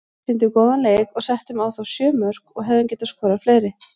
Sýndum góðan leik og settum á þá sjö mörk og hefðum getað skorað fleiri.